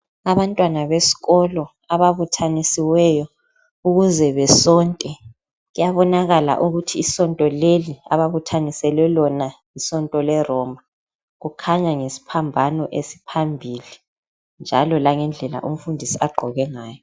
Abantwana besikolo ababuthanisiweyo ukuze besonte .Kuyabonakala ukuthi isonto leli abathaniselwe lona yisonto le Roma. Kukhanya ngesiphambano esiphambili njalo langendlela umfundisi agqoke ngayo.